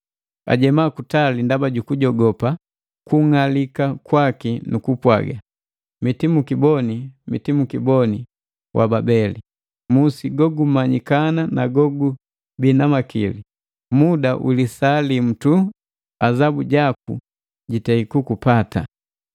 Ajema kutali ndaba jukujogopa kung'alika kwaki nu kupwaga, “Mitimukiboni, mitimukiboni wa Babeli! Musi go gumanyikana na gogubii na makili! Muda wilisa limu tu azabu jaku jitei kukupata.”